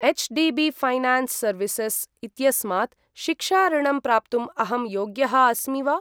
HDB Finance services इत्यस्मात् शिक्षा ऋणम् प्राप्तुम् अहं योग्यः अस्मि वा?